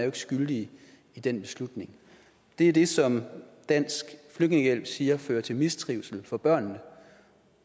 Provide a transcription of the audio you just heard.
ikke skyldige i den beslutning det er det som dansk flygtningehjælp siger fører til mistrivsel for børnene